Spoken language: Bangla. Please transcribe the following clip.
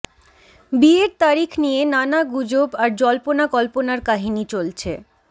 বিয়ের তারিখ নিয়ে নানা গুজব আর জল্পনা কল্পনার কাহিনী চলছে